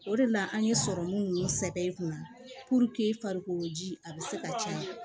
O de la an ye sɔrɔmu ninnu sɛbɛ i kunna i farikolo ji a bɛ se ka caya